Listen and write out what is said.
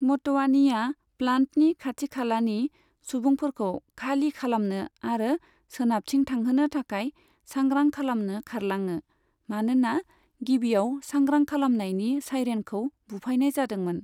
म'टवानीआ प्लान्टनि खाथिखालानि सुबुंफोरखौ खालि खालामनो आरो सोनाबथिं थांहोनो थाखाय सांग्रां खालामनो खारलाङो, मानोना गिबियाव सांग्रां खालामनायनि सायरेनखौ बुफायनाय जादोंमोन।